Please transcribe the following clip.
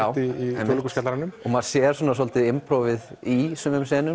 Þjóðleikhúskjallaranum og maður sér svolítið í sumum